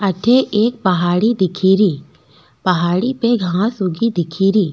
अठे एक पहाड़ी दिखेरी पहाड़ी पे घांस उगी दिखेरी।